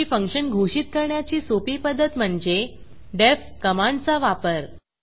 अशी फंक्शन घोषित करण्याची सोपी पध्दत म्हणजे deffडेफ्फ कमांडचा वापर